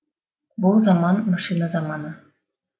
бұ заман машина заманы